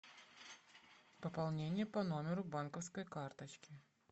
пополнение по номеру банковской карточки